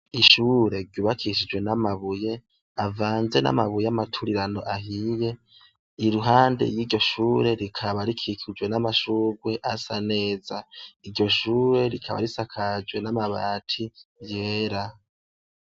Ishure ryubakishijwe n'amabuye avanze n'amabuye amaturirano ahiye iruhande y'iryo shure rikaba rikikijwe n'amashurwe asa neza iryo shure rikaba risakajwe n'amabati yera.